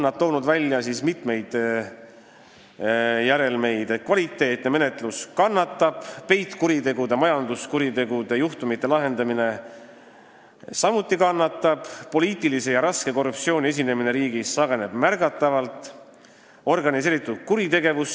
Nad on toonud välja mitu järelmit: kannatab menetluse kvaliteet, samuti peitkuritegudega, majanduskuritegudega seotud juhtumite lahendamine, märgatavalt sageneb poliitilise ja raske korruptsiooni esinemine riigis, hoogu saab juurde organiseeritud kuritegevus.